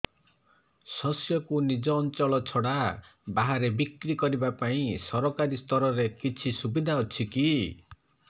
ଶସ୍ୟକୁ ନିଜ ଅଞ୍ଚଳ ଛଡା ବାହାରେ ବିକ୍ରି କରିବା ପାଇଁ ସରକାରୀ ସ୍ତରରେ କିଛି ସୁବିଧା ଅଛି କି